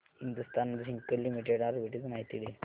Hindustan zinc limited arbitrage माहिती दे